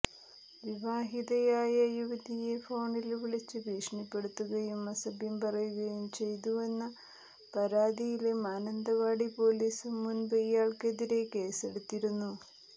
വിവാഹിതയായ യുവതിയെ ഫോണില് വിളിച്ച് ഭീഷണിപ്പെടുത്തുകയും അസഭ്യം പറയുകയും ചെയ്തുവെന്ന പരാതിയില് മാനന്തവാടി പോലീസും മുന്പ് ഇയാള്ക്കെതിരേ കേസെടുത്തിരുന്നു